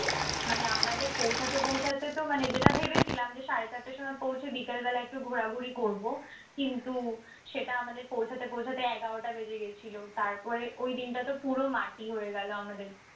মানে আমাদের পৌঁছাতে পৌঁছাতেতো মানে যেটা ভেবেছিলাম যে সাড়ে চারটার সময় পৌঁছে বিকালবেলা একটু ঘুরাঘুরি করবো। কিন্তু সেটা আমাদের পৌঁছাতে পৌঁছাতে এগারোটা বেজে গিয়েছিল। তারপরে ওই দিনটাতো পুরো মাটি হয়ে গেলো আমাদের।